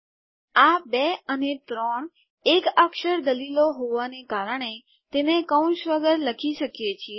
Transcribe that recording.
આ ૨ અને ૩ એક અક્ષર દલીલો હોવાને કારણે તેને કૌંસ વગર લખી શકીએ છીએ